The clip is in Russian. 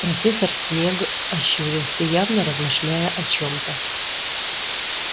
профессор снегг ощурился явно размышляя о чём-то